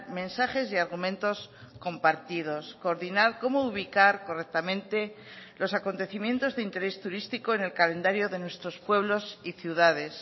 mensajes y argumentos compartidos coordinar cómo ubicar correctamente los acontecimientos de interés turístico en el calendario de nuestros pueblos y ciudades